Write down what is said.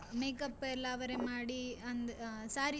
Makeup ಎಲ್ಲ ಅವರೆ ಮಾಡಿ, ಅಂದ್ ಅಹ್ saree ಸ.